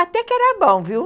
Até que era bom, viu?